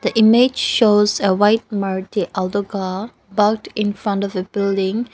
the image shows a white maruti alto car burked in front of a building.